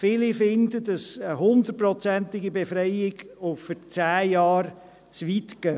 Viele finden, dass eine 100-prozentige Befreiung und für zehn Jahre zu weit geht.